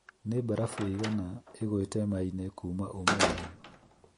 Nĩ mbarabu ĩigana ĩgũĩte Maine kuuma ũmũthĩ